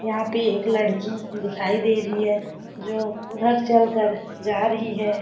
यहाँ पे एक लड़की दिखाई दे रही है जो उधर चल कर जा रही है।